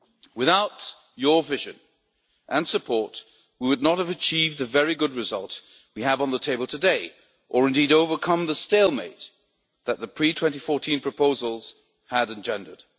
Without your vision and support, we would not have achieved the very good result we have on the table today or indeed overcome the stalemate that the pre 2014 proposals had engendered.